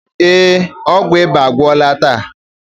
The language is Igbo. Ee, ọgwụ ịba agwụla taa.